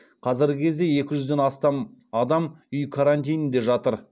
қазіргі кезде екі жүзден астам адам үй карантинінде жатыр